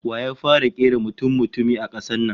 Wa ya fara kera mutummutumi a kasar nan?